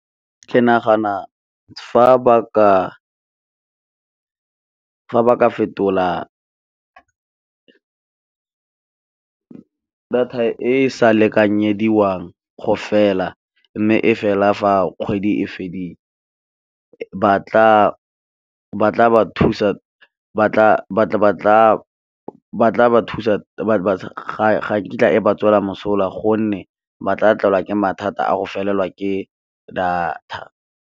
Ke nagana fa ba ka fetola data e sa lekanyediwang go fela, mme e fela fa kgwedi e fedile ga nkitla e ba tswela mosola, gonne ba tla tlolwa ke mathata a go felelwa ke data.